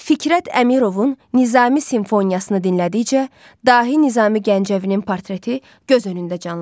Fikrət Əmirovun Nizami simfoniyasını dinlədikcə, dahi Nizami Gəncəvinin portreti göz önündə canlanır.